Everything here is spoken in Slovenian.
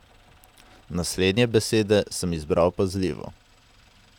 Naslednje besede sem izbral pazljivo.